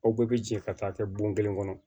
Aw bɛɛ bɛ jɛ ka taa kɛ bon kelen kɔnɔ